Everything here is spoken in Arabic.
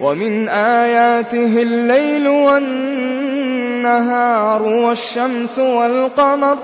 وَمِنْ آيَاتِهِ اللَّيْلُ وَالنَّهَارُ وَالشَّمْسُ وَالْقَمَرُ ۚ